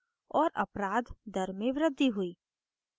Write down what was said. और अपराध दर में वृद्धि हुई